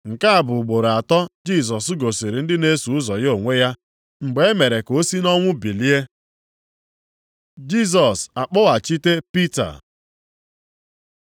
Nke a bụ ugboro atọ Jisọs gosiri ndị na-eso ụzọ ya onwe ya mgbe e mere ka o si nʼọnwụ bilie. Jisọs akpọghachite Pita